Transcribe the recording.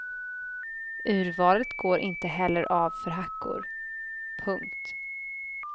Urvalet går inte heller av för hackor. punkt